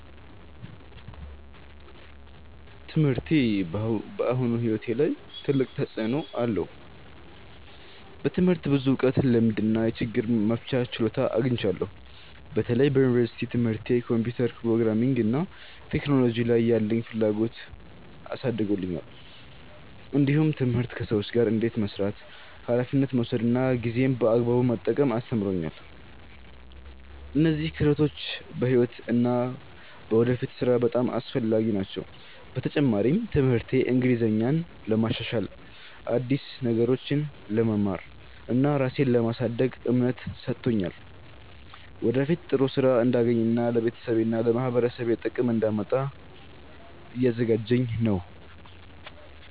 ትምህርቴ በአሁኑ ሕይወቴ ላይ ትልቅ ተፅዕኖ አለው። በትምህርት ብዙ እውቀት፣ ልምድ እና የችግር መፍቻ ችሎታ አግኝቻለሁ። በተለይ በዩኒቨርሲቲ ትምህርቴ ኮምፒውተር፣ ፕሮግራሚንግ እና ቴክኖሎጂ ላይ ያለኝን ፍላጎት አሳድጎልኛል። እንዲሁም ትምህርት ከሰዎች ጋር እንዴት መስራት፣ ኃላፊነት መውሰድ እና ጊዜን በአግባቡ መጠቀም አስተምሮኛል። እነዚህ ክህሎቶች በሕይወት እና በወደፊት ሥራ በጣም አስፈላጊ ናቸው። በተጨማሪም ትምህርቴ እንግሊዝኛን ለማሻሻል፣ አዲስ ነገሮችን ለመማር እና ራሴን ለማሳደግ እምነት ሰጥቶኛል። ወደፊት ጥሩ ሥራ እንዳገኝ እና ለቤተሰቤና ለማህበረሰቤ ጥቅም እንዳመጣ እያዘጋጀኝ ነው።